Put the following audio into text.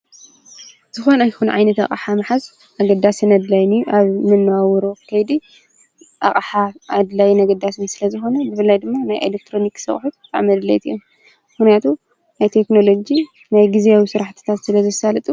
ዝኮነ ኮይኑ ዓይነት ኣቅሓ ምሓዝ ኣገዳስን ኣድላይን ኣብ መነባበሮ ከይዲ ኣቅሓ ኣገዳስን ኣድላይን ስለ ዝኮነ ፍላይ ድማ ናይ ኤሎትሮኒክስ ኣቅሓ ብጣዕሚ ኣድለይቲ እዮም። ምክንያቱ ናይ ቴክኖሎጂ ናይ ግዝያዊ ስራሕትታት ስለ ዘሳልጡ።